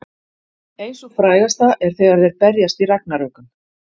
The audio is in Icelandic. Ein sú frægasta er þegar þeir berjast í Ragnarökum.